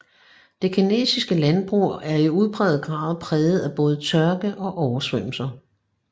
Det kinesiske landbrug er i udpræget grad præget af både tørke og oversvømmelser